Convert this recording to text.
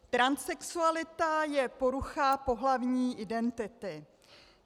Transsexualita je porucha pohlavní identity.